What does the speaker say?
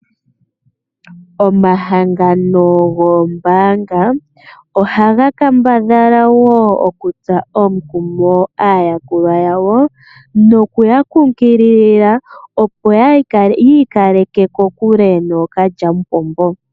omahangano goombaanga, ohaga kambadhala woo okutsa omukumo aayakulwa yawo noku ya kunkilila opo yiikaleke kokule nookalyamupombo.